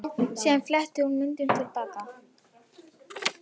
Síðan fletti hún myndunum til baka.